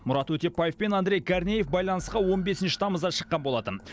мұрат өтепбаев пен андрей корнеев байланысқа он бесінші тамызда шыққан болатын